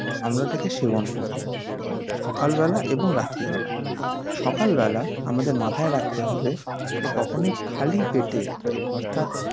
আমরা এটাকে সেবন করবো সকাল বেলা এবং রাত্রি বেলা সকাল বেলা আমাদের মাথায় রাখতে হবে যে কখনোই খালি পেটে অর্থাৎ